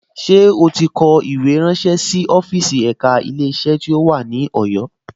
Ṣé ó ti kọ̀wé ránṣé sí ọ́fíìsì ẹ̀ka Ilé-iṣẹ́ tó wà ní Ọ̀yọ́